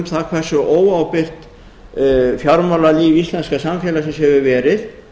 það hversu óábyrgt fjármálalíf íslenska samfélagsins hefur verið